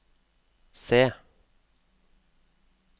C